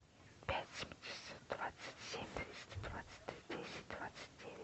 пять семьдесят двадцать семь двести двадцать десять двадцать девять